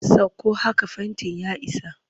Sakko haka fentin ya isa!